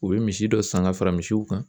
U bɛ misi dɔ san ka fara misiw kan